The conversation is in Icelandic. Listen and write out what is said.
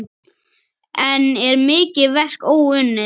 Enn er mikið verk óunnið.